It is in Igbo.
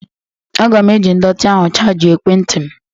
Aga m eji ndọtị ahụ chajịa ekwentị m